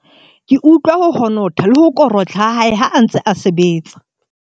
ke utlwa ho honotha le ho korotla ha hae ha a ntse a sebetsa